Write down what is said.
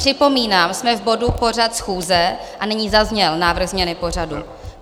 Připomínám, jsme v bodu Pořad schůze, a nyní zazněl návrh změny pořadu.